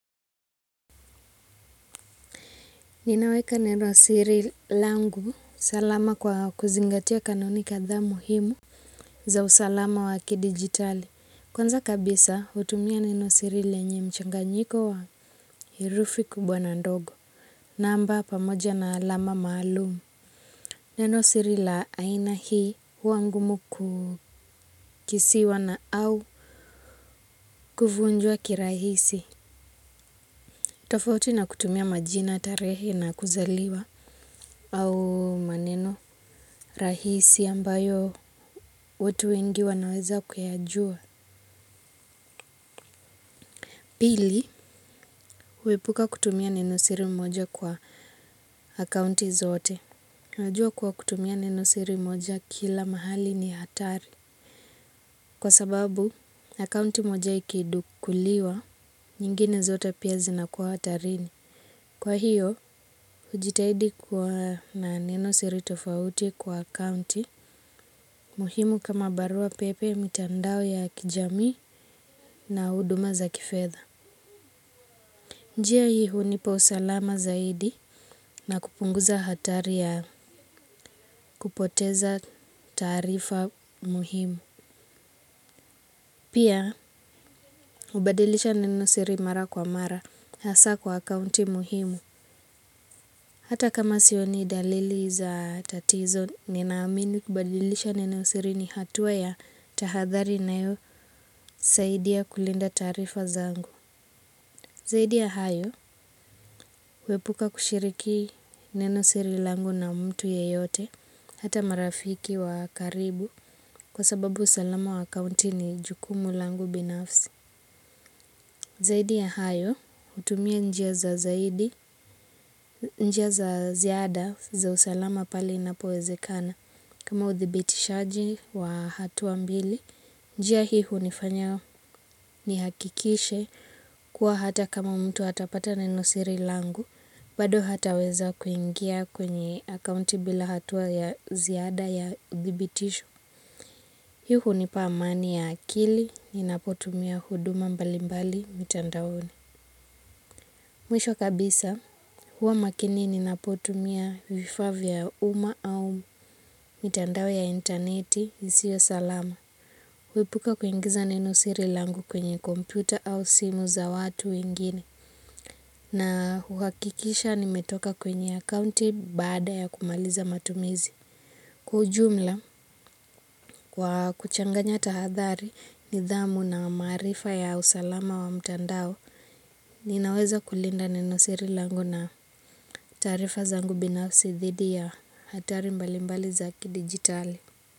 Ninaweka neno siri langu salama kwa kuzingatia kanuni kadhaa muhimu za usalama waki digitali. Kwanza kabisa utumia neno siri lenye mchanganyiko wa herufi kubwa na ndogo. Namba pamoja na alama maalumu. Neno siri la aina hii huwangumu kukisiwa na au kuvunjwa kirahisi. Tofauti na kutumia majina tarehe na kuzaliwa au maneno rahisi ambayo watu wengi wanaweza kuyajua pili huepuka kutumia neno siri moja kwa akaunti zote huajua kwa kutumia neno siri moja kila mahali ni hatari kwa sababu akaunti moja ikidukuliwa nyingine zote pia zinakuwa hatarini kwa hiyo ujitahidi kwa neno siri tofauti kwa akaunti muhimu kama barua pepe mitandao ya kijamii na huduma za kifedha. Njia hii hu ni pausalama zaidi na kupunguza hatari ya kupoteza taarifa muhimu. Pia, ubadilisha neno siri mara kwa mara hasa kwa akaunti muhimu. Hata kama sioni dalili za tatizo ninaamini kubadilisha neno siri ni hatuwa ya tahadhari ina yo saidia kulinda taarifa zangu. Zaiudi ya hayo, uwepuka kushiriki neno siri langu na mtu yeyote, hata marafiki wa karibu, kwa sababu salama wa kaunti ni jukumu langu binafsi. Zaidi ya hayo, hutumia njia za zaidi, njia za ziada za usalama pali na powezekana. Kama uthibitishaji wa hatua mbili, njia hiii hunifanya ni hakikishe kuwa hata kama mtu hatapata na inenosiri langu, bado hata weza kuingia kwenye akaunti bila hatuwa ya ziada ya uthibitisho. Hii hunipa amani ya akili, ninapotumia huduma mbalimbali mitandaone. Mwisho kabisa, huwa makini ninapotumia vifaa vya uma au mitandao ya interneti, isiyo salama. Huepuka kuingiza neno siri langu kwenye kompyuta au simu za watu ingine. Na uhakikisha nimetoka kwenye akaunti baada ya kumaliza matumizi. Kwaujumla kwa kuchanganya tahadhari ni dhamu na maarifa ya usalama wa mitandao. Ninaweza kulinda neno siri langu na tarifa zangu binafsi dhidi ya hatari mbalimbali za kidigitali.